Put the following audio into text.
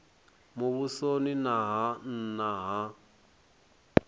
muvhusoni na ha nna ha